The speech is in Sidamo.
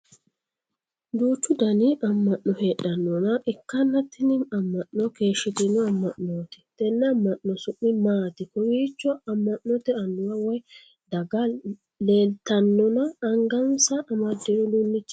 Duuchu Danni ama'no heedhanoha ikanna tinni ama'no keeshitino ama'nooti tenne ama'no su'mi maati? Kowiicho ama'note anuwa woyi daga leeltannona angansa amadino uduunichi maati?